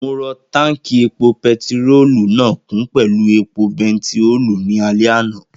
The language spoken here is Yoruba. Mo rọ táùnkì epo pẹtirólù náà kún pẹ̀lú epo bẹntíòòlù ní alẹ́ àná